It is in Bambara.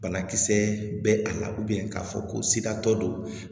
Banakisɛ bɛ a la k'a fɔ ko sigatɔ don